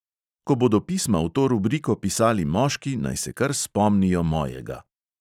Ko bodo pisma v to rubriko pisali moški, naj se kar spomnijo mojega!